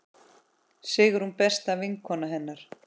Sigrún besta vinkona hennar.